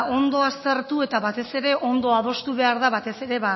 ondo aztertu eta batez ere ondo adostu behar da batez ere